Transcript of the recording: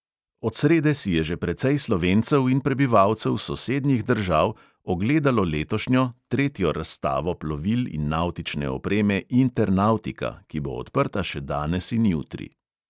Od srede si je že precej slovencev in prebivalcev sosednjih držav ogledalo letošnjo, tretjo razstavo plovil in navtične opreme internautika, ki bo odprta še danes in jutri.